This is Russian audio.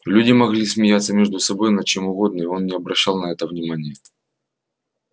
люди могли смеяться между собой над чем угодно и он не обращал на это внимания